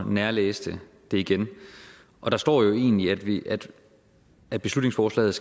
og nærlæste det igen der står jo egentlig at at beslutningsforslaget